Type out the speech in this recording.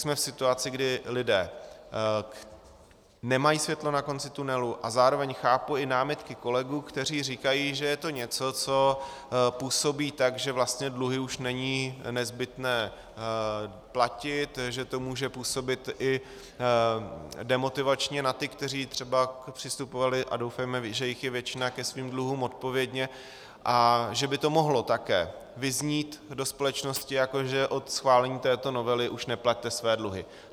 Jsme v situaci, kdy lidé nemají světlo na konci tunelu, a zároveň chápu i námitky kolegů, kteří říkají, že je to něco, co působí tak, že vlastně dluhy už není nezbytné platit, že to může působit i demotivačně na ty, kteří třeba přistupovali, a doufejme, že jich je většina, ke svým dluhům odpovědně, a že by to mohlo také vyznít do společnosti, jako že od schválení této novely už neplaťte své dluhy.